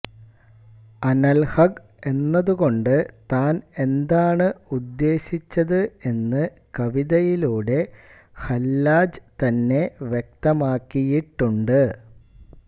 അനൽഹഖ് എന്നതു കൊണ്ട് താൻ എന്താണു ഉദ്ദേശിച്ചത് എന്ന് കവിതയിലൂടെ ഹല്ലാജ് തന്നെ വ്യക്തമാക്കിയിട്ടുണ്ട്